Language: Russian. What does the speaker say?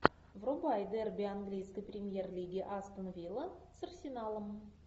врубай дерби английской премьер лиги астон вилла с арсеналом